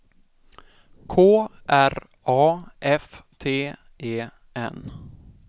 K R A F T E N